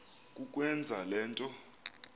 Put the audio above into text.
kukwenza le nto